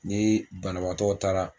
Ni banabaatɔw taara